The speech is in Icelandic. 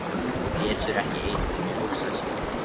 Getur ekki einu sinni hugsað sér það.